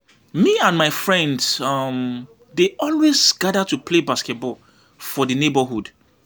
Me and my friends um dey always gather to play basketball for the neighborhood.